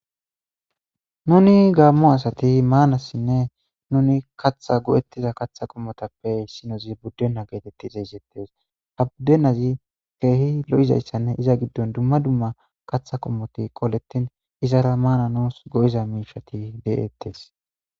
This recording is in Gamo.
nuni gaammo asati maanassinne nuni katha go7ettiza katha qommotappe issinozi buddenna geetetti zeezettes ha buddenazi keehi lo7izayssanne iza giddon dumma dumma katha qommoti qolettin izara maana nous go7iza miishati de7ettes